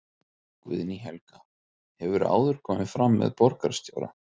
Guðný Helga: Hefurðu áður komið fram með borgarstjóra?